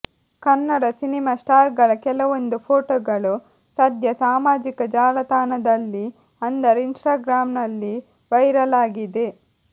Kannada cinema star ಗಳ ಕೆಲವೊಂದು ಫೋಟೋಗಳು ಸದ್ಯ ಸಾಮಾಜಿಕ ಜಾಲತಾಣದಲ್ಲಿ ಅಂದರೆ ಇನ್ಸ್ಟಾಗ್ರಾಂ ನಲ್ಲಿ ವೈರಲ್ ಆಗಿದೆ